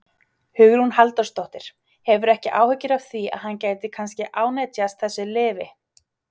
Hugrún Halldórsdóttir: Hefurðu ekki áhyggjur af því að hann gæti kannski ánetjast þessu lyfi?